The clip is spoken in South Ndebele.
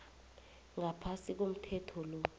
ngaphasi komthetho lo